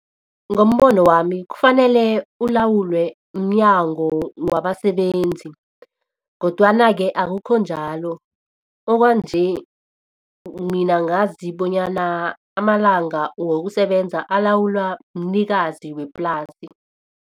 Ngombono wami kufanele ulawulwe mnyango wabasebenzi kodwana-ke akukho njalo okwanje mina ngazi bonyana amalanga wokusebenza alawulwa mnikazi weplasi.